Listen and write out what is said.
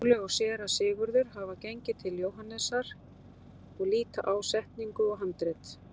Skúli og Séra Sigurður hafa gengið til Jóhannesar og líta á setningu og handrit.